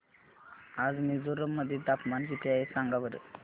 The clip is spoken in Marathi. आज मिझोरम मध्ये तापमान किती आहे सांगा बरं